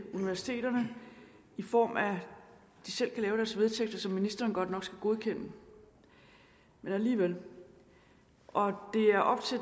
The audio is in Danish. universiteterne i form af at de selv kan lave deres vedtægter som ministeren godt nok skal godkende men alligevel og